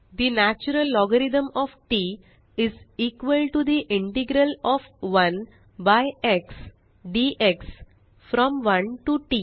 the natural logarithm of TT is equal to the integral of 1 by x dx from 1 to TT